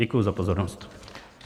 Děkuji za pozornost.